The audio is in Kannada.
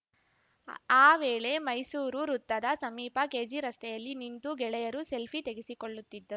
ಆ ವೇಳೆ ಮೈಸೂರು ವೃತ್ತದ ಸಮೀಪ ಕೆಜಿರಸ್ತೆಯಲ್ಲಿ ನಿಂತು ಗೆಳೆಯರು ಸೆಲ್ಫಿ ತೆಗೆಸಿಕೊಳ್ಳುತ್ತಿದ್ದ